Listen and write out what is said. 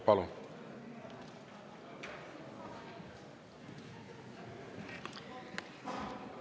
Palun!